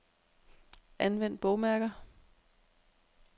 Anvend bogmærker.